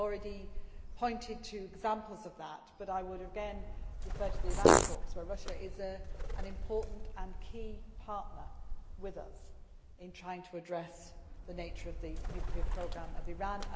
I have already pointed to examples of that, but I would again refer to the Iran talks, where Russia is an important and key partner with us in trying to address the nature of the nuclear programme of Iran.